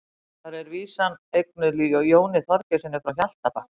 þar er vísan eignuð jóni þorgeirssyni frá hjaltabakka